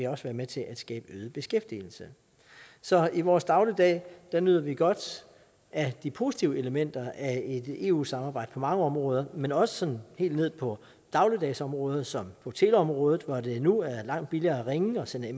også være med til at skabe øget beskæftigelse så i vores dagligdag nyder vi godt af de positive elementer af et eu samarbejde på mange områder men også sådan helt ned på dagligdagsområdet som på teleområdet hvor det nu er langt billigere at ringe og sende